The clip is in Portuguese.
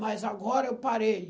Mas agora eu parei.